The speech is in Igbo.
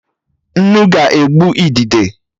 Nnu ga-egbu idide